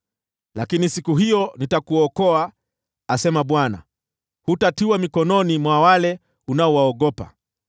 Lakini siku hiyo nitakuokoa, asema Bwana ; hutatiwa mikononi mwa wale unaowaogopa.